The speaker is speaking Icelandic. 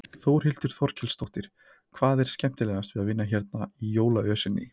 Þórhildur Þorkelsdóttir: Hvað er skemmtilegast við að vinna hérna í jólaösinni?